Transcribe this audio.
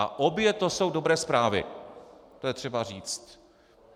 A obě to jsou dobré zprávy, to je třeba říct.